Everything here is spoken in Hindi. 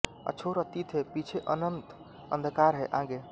अछोर अतीत है पीछे अनंत अंधकार है आगे